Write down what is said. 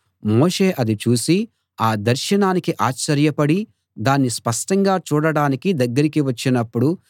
మోషే అది చూసి ఆ దర్శనానికి ఆశ్చర్యపడి దాన్ని స్పష్టంగా చూడ్డానికి దగ్గరికి వచ్చినపుడు